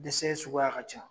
Dɛsɛ suguya ka ca